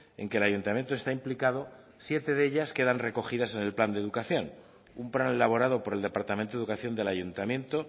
en que el ayuntamiento está implicado siete de ellas quedan recogidas en el plan de educación un plan elaborado por el departamento de educación del ayuntamiento